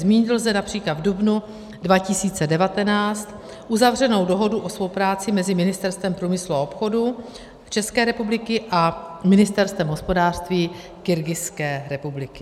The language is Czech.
Zmínit lze například v dubnu 2019 uzavřenou dohodu o spolupráci mezi Ministerstvem průmyslu a obchodu České republiky a Ministerstvem hospodářství Kyrgyzské republiky.